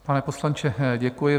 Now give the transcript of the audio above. Pane poslanče, děkuji.